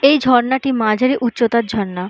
এই ঝর্ণাটি মাঝারি উচ্চতার ঝর্ণা ।